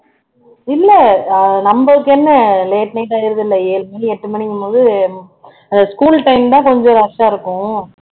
இல்ல ஆஹ் நம்மளுக்கு என்ன late night ஆயிருது இல்ல ஏழு மணி எட்டு மணிங்கும் போது அது school time தான் கொஞ்சம் rush ஆ இருக்கும்